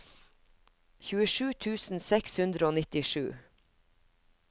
tjuesju tusen seks hundre og nittisju